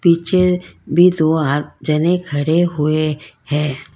पीछे भी दो आद जने खड़े हुए है।